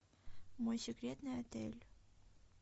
мой секретный отель